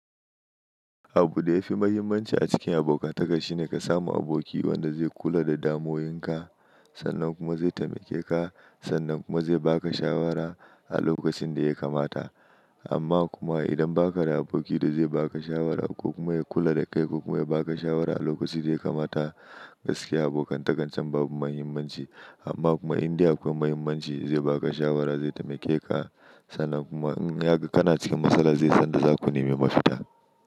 Abu da ya fi mahimmanci a cikin abokantaka shine ka samu aboki wanda zai kula da damuwoyinka, sannan kuma zai taimake ka, sannan kuma zai ba ka shawara a lokacin da ya kamata. Amma kuma idan ba ka da aboki da zai ba ka shawara ko kuma ya kula da kai ko kuma ya ba ka shawara a lokacin da ya kamata, gaskiya abokantakancen babu mahimmanci. Amma kuma in dai akwai mahimmanci, zai ba ka shawara, zai taimake ka, sannan kuma in ya ga kana cikin matsala zai san da za ku nemi mafita.